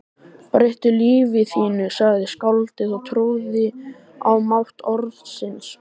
Breyttu lífi þínu sagði skáldið og trúði á mátt orðsins